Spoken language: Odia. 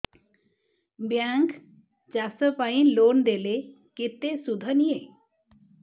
ବ୍ୟାଙ୍କ୍ ଚାଷ ପାଇଁ ଲୋନ୍ ଦେଲେ କେତେ ସୁଧ ନିଏ